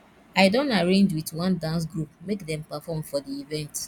i don arrange wit one dance group make dem perform for di event